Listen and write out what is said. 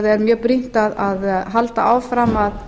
er mjög brýnt að halda áfram að